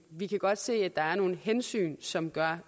vi kan godt se at der er nogle hensyn som gør